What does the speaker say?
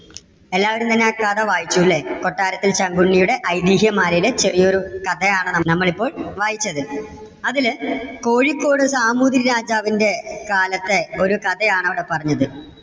എല്ലാവരും തന്നെ ആ കഥ വായിച്ചു അല്ലേ. കൊട്ടാരത്തിൽ ശങ്കുണ്ണിയുടെ ഐതിഹ്യമാലയിലെ ചെറിയ ഒരു കഥയാണ് നമ്മളിപ്പോൾ വായിച്ചത്. അതില് കോഴിക്കോട് സാമൂതിരി രാജാവിന്‍ടെ കാലത്തെ ഒരു കഥയാണ് അവിടെ പറഞ്ഞത്.